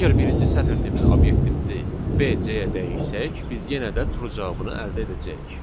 Əgər birinci sətir tipli obyektimizi BC-yə dəyişsək, biz yenə də true cavabını əldə edəcəyik.